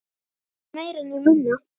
Hvorki meira né minna!